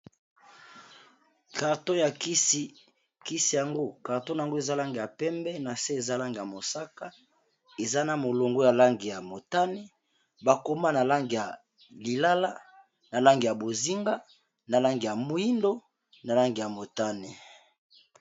Carton ya kisi, kisi yango carton yango eza langi ya pembe, na se eza langi ya mosaka, eza na molongo ya langi ya motane, bakoma na langi ya lilala, na langi ya bozinga na langi ya moyindo, na langi ya motane.